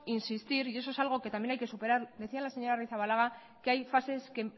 insistir y eso es algo que también hay que superar decía la señora arrizabalaga que hay fases que